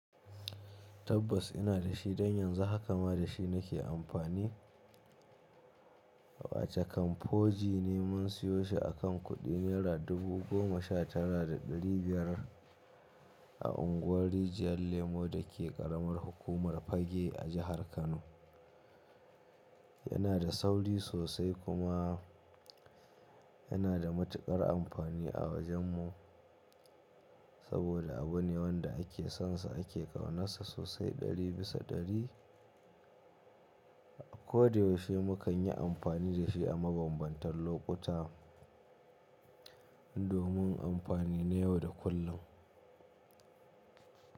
Tabbas ina da shi don yanzu haka ma da shi nake amfani. Wace camfoji ne mun siyo shi akan kuɗi Naira dubu goma sha tara da ɗari biyar a unguwar rijiyar lemo dake ƙaramar hukumar Fagge a jihar Kano. Yana da sauri sosai kuma yana da matuƙar amfani a wajen mu saboda abu ne wanda ake son sa ake ƙaunasa sosai ɗari bisa ɗari. A ko da yaushe mukan yi amfani da shi a mabambantan lokuta domin amfani na yau da kullum.